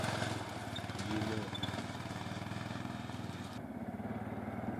вино